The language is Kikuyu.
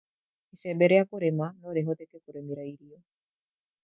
Icembe rĩa kurĩma no rihuthĩke kũrĩmĩra irio